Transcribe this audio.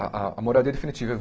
A, a a moradia definitiva.